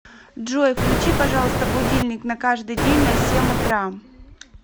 джой включи пожалуйста будильник на каждый день на семь утра